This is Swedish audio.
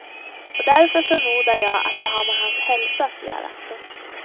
Och därför förmodar jag att det har med hans hälsa att göra. punkt